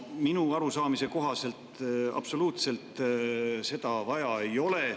Minu arusaamise kohaselt absoluutselt seda vaja ei ole.